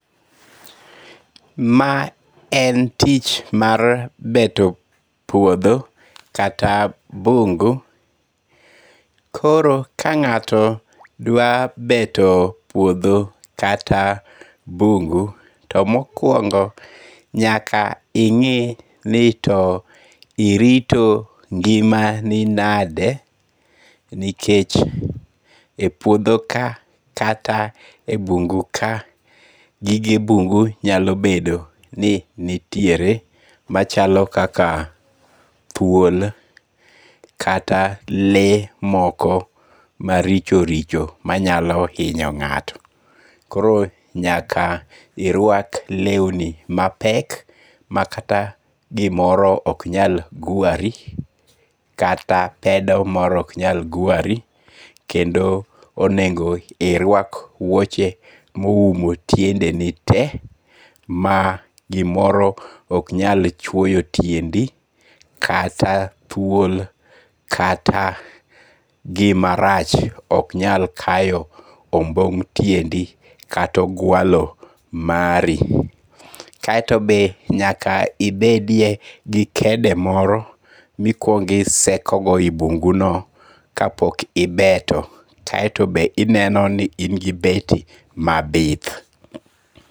Ma en tich mar beto puotho kata bungu koro ka nga'to dwa beto puotho kata bungu' to mokuongo nyaka ingi ni to irito ngi'mani nade nikech e puotho ka kata e bungu ka gige bungu nyalo bedo ni nitiere machalo kaka thuol kata le moko maricho richo manyalo hinyo nga'to, koro nyaka irwak lewni mapek makata gimoro oknyal gwari kata pedo moro oknyal gwari kendo onego irwak wuoche ma oumo tiendeni te ma gimoro oknyal chuoyo tiendi kata thuol kata gimarach ok nyal kayo ombong' tiendi kata ogwalo mari, kaito to be nyaka inbedie gi kede moro mikuongo' isekogo yi mbuguno ka pok ibeto, kaito be inenoni to be ingi beti mabith